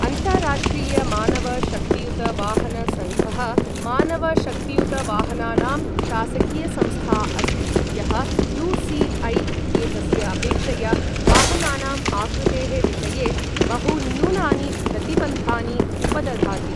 अन्ताराष्ट्रिय मानव शक्तियुत वाहन सङ्घः मानव शक्तियुत वाहनानां शासकीयसंस्था अस्ति यः यू.सि.ऐ. इत्येतस्य अपेक्षया वाहनानाम् आकृतेः विषये बहुन्यूनानि प्रतिबन्धानि उपदधाति।